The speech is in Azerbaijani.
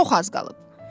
Çox az qalıb.